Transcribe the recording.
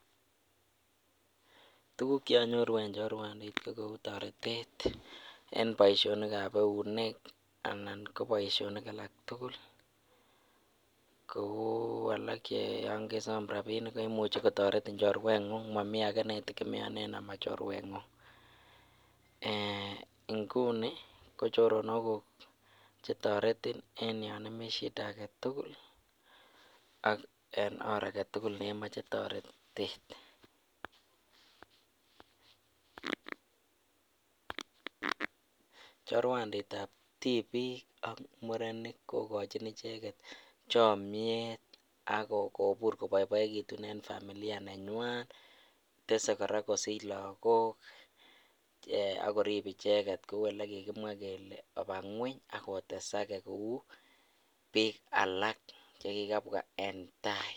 Tukuk chekinyoru en chorwandit ko kou toretet en boishonikab eunek anan ko boishonik alak tukul kouu alak kouu yoon kesom rabinik koimuchi kotoretin chorweng'ung amun momii akee netekemeonen nemo chorweng'ung, eeh inguni ko choronokuk chetoreti en yoon imii shida aketukul ak en oor aketukul nemoche toretet, chorwanditab tibiik ak murenik kokochin icheket chomnyet ak kobur koboiboekitun en familia nenywan, tesee kora kosich lokok eeh akorib icheket kouu elekikimwa kelee obaa ngweny ak otesake kouu biik alak chekikabwa en taai.